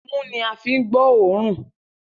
Imú ní a fí ń gbọ́ òórùn.